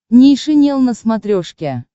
нейшенел на смотрешке